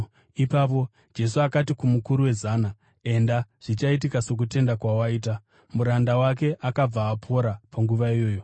Ipapo Jesu akati kumukuru wezana, “Enda! Zvichaitika sokutenda kwawaita.” Muranda wake akabva apora panguva iyoyo.